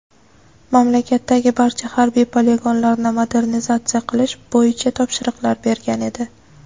mamlakatdagi barcha harbiy poligonlarni modernizatsiya qilish bo‘yicha topshiriqlar bergan edi.